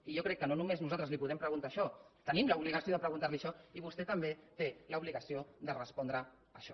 i jo crec que no només nosaltres li podem preguntar això tenim l’obligació de preguntar li això i vostè també té l’obligació de respondre a això